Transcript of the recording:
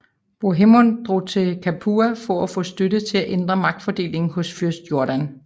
Bohemund drog til Capua for at få støtte til at ændre magtfordelingen hos fyrst Jordan